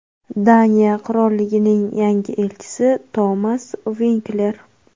Daniya Qirolligining yangi elchisi Tomas Vinkler.